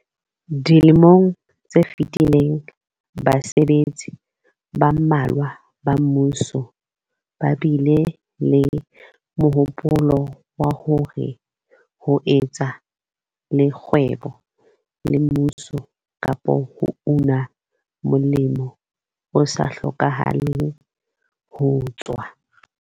Dilemong tse fetileng basebetsi ba mmalwa ba mmuso ba bile le mohopolo wa hore ho etsa le kgwebo le mmuso kapa ho una molemo o sa hlokahaleng ho tswa